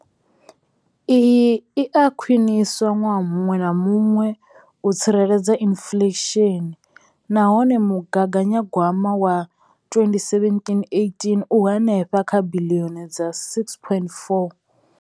Iyi i a khwiniswa ṅwaha muṅwe na muṅwe u tsireledza inflesheni nahone mugaganyagwama wa 2017, 18 u henefha kha biḽioni dza R6.4.